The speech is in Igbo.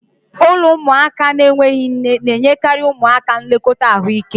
Ụlọ ụmụaka na-enweghị nne na-enyekarị ụmụaka nlekọta ahụike